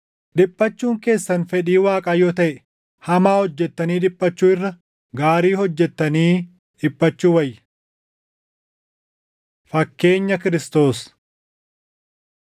Dhiphachuun keessan fedhii Waaqaa yoo taʼe, hamaa hojjettanii dhiphachuu irra gaarii hojjettanii dhiphachuu wayya. Fakkeenya Kiristoos